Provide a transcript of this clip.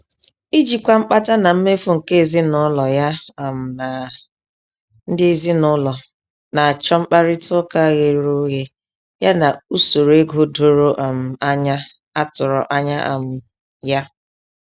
Ijikwa mkpata na mmefu nke ezinụlọ ya um na ndị ezinụlọ na-achọ mkparịta ụka ghere oghe ya na usoro ego doro um anya a tụrụ anya um ya.